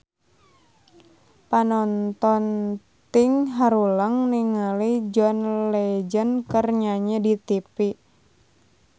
Panonton ting haruleng ningali John Legend keur nyanyi di tipi